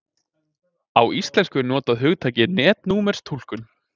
á íslensku er notað hugtakið netnúmerstúlkun